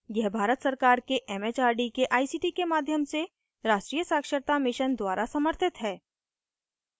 यह भारत सरकार के it it आर डी के आई सी टी के माध्यम से राष्ट्रीय साक्षरता mission द्वारा समर्थित है